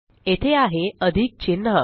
येथे आहे अधिक चिन्ह